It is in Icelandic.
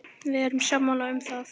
Við erum sammála um það.